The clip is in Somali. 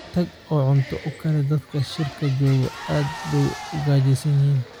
Tag oo cunto u kari dadka shirka jooga, aad bay u gaajaysan yihiin.